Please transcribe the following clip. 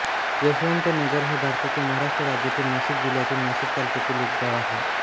यशवंतनगर हे भारताच्या महाराष्ट्र राज्यातील नाशिक जिल्ह्यातील नाशिक तालुक्यातील एक गाव आहे